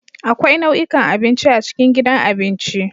Akwai nau'ikan abinci a cikin gidan abinci.